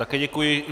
Také děkuji.